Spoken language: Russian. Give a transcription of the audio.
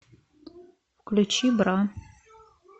включи бра